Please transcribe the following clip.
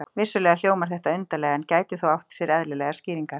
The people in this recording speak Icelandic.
Vissulega hljómar þetta undarlega, en gæti þó átt sér eðlilegar skýringar.